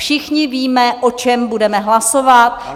Všichni víme, o čem budeme hlasovat.